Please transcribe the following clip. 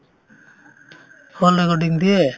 hall recording দিয়ে